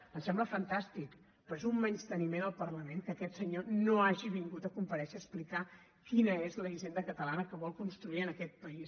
em sembla fantàstic però és un menysteniment al parlament que aquest senyor no hagi vingut a comparèixer per explicar quina és la hisenda catalana que vol construir en aquest país